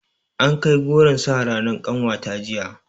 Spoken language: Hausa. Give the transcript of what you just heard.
Ankai goron sa ranar ƙanwata jiya